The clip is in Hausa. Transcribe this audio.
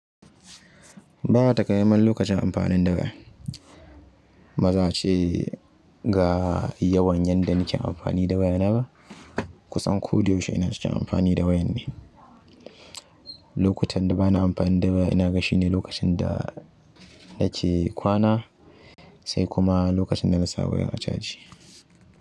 Ba taƙaimai mai lokacin amfanin da waya. Ba za a ce ga yawan yanda nake amfani da waya na ba. Kusan koda yaushe ina cikin amfani da wayan ne. Lokutan da ba na amfani da waya ina gashi ne lokacin da nake kwana sai kuma lokacin dana sa waya a chaji.